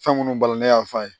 Fɛn minnu bali ne y'a f'a ye